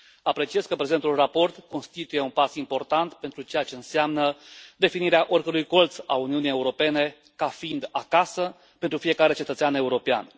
Apreciez că prezentul raport constituie un pas important pentru ceea ce înseamnă definirea oricărui colț al Uniunii Europene ca fiind acasă pentru fiecare cetățean european.